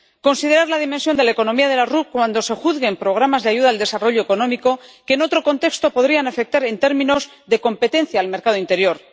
considerar la dimensión de la economía de las RUP cuando se juzguen programas de ayuda al desarrollo económico que, en otro contexto, podrían afectar en términos de competencia al mercado interior